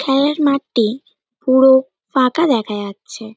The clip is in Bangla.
খেলার মাঠটি পুরো ফাঁকা দেখা যাচ্ছে।